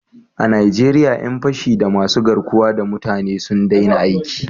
A Najeriya 'yan fashi da masu garkuwa da mutane sun daina aiki